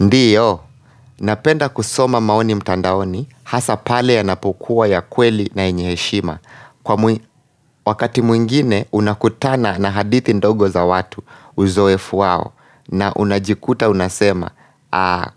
Ndio, napenda kusoma maoni mtandaoni, hasa pale yanapokuwa ya kweli na enyeheshima kwa Wakati mwingine unakutana na hadithi ndogo za watu uzo efuwao na unajikuta unasema,